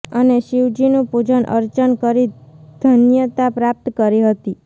અને શિવજીનું પુજન અર્ચન કરી ધન્યતા પ્રાપ્ત કરી હતી